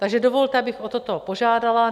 Takže dovolte, abych o toto požádala.